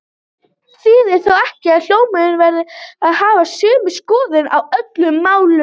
Þetta þýðir þó ekki að hjónin verði að hafa sömu skoðun á öllum málum.